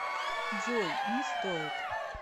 джой не стоит